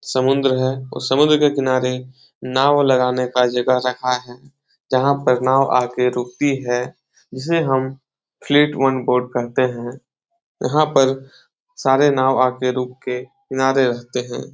समुंद्र है और समुंद्र के किनारे नाव लगाने का जगह रखा है जहाँ पे नाव आ के रुकती है जिसे हम फ्लैट वन बोट कहते है यहाँ पर सारे नाव आके रुक के किनारे रहते है।